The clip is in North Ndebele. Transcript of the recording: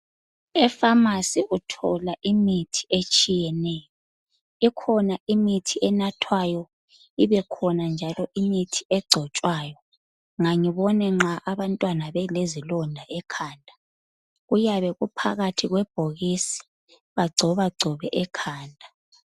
efamasi uthola imithi etshiyeneyo ikhona imithi enathwayo ibekhona njalo imithi ecotshwayo ngangibone nxa abantwana belezilonda ekhanda kuyabe kuphakathi kwebhokisi bagcoba gcobe ekhanda